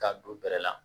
K'a don bɛrɛ la